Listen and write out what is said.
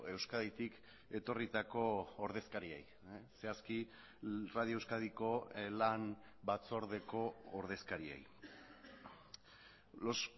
euskaditik etorritako ordezkariei zehazki radio euskadiko lan batzordeko ordezkariei los